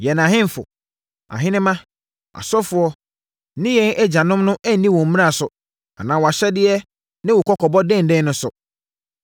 Yɛn ahemfo, ahenemma, asɔfoɔ, ne yɛn agyanom no anni wo mmara so anaa wʼahyɛdeɛ ne wo kɔkɔbɔ denden no so.